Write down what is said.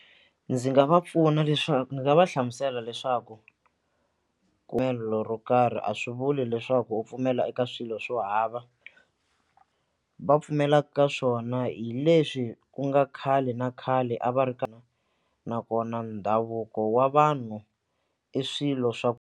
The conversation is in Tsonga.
Ndzi nga va pfuna leswaku ndzi nga va hlamusela leswaku ro karhi a swi vuli leswaku u pfumela eka swilo swo hava va pfumelaka ka swona hi leswi ku nga khale na khale a va ri nakona ndhavuko wa vanhu i swilo swa .